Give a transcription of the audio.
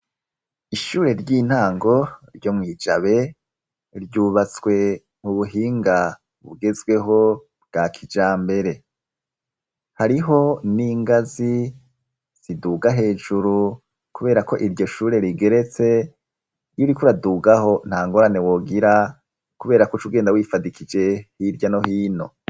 Ishure ry'intango ryo mw' i Jabe ryubatswe mu buhinga bugezweho bwa kijambere. Hariho n'ingazi ziduga hejuru kubera ko iryo shure rigeretse, iyo uriko uradugaho nta ngorane wogira kubera ko uca ugenda wifadikije hirya no hino.